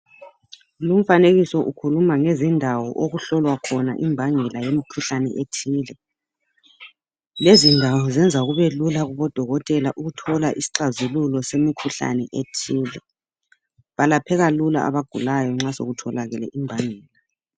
Lu mfanekiso ukhuluma ngezindawo okuhlolwa khona imbangela yemkhuhlane ethile lezi ndawo zenza kube lula kubodokotela ukuthola isixazululo semikhuhlane ethile balapheka lula abagulayo nxa sekutholakele imbangela